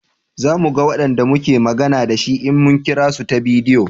Za mu ga Wanda muke magana da shi in mun kira su ta bidiyo